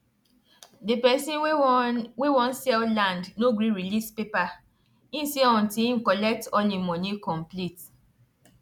the person wey won wey won sell land no gree release paper he say until im collect all im money complete